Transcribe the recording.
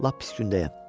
Lap pis gündəyəm.